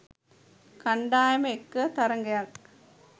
කණ්ඩායම එක්ක තරඟයක්